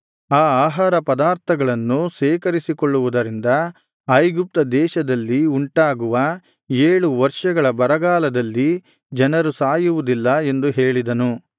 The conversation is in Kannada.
ಆ ಆಹಾರ ಪದಾರ್ಥಗಳನ್ನು ಶೇಖರಿಸಿಕೊಳ್ಳುವುದರಿಂದ ಐಗುಪ್ತ ದೇಶದಲ್ಲಿ ಉಂಟಾಗುವ ಏಳು ವರ್ಷಗಳ ಬರಗಾಲದಲ್ಲಿ ಜನರು ಸಾಯುವುದಿಲ್ಲ ಎಂದು ಹೇಳಿದನು